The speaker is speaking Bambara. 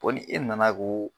Fo ni e nana ko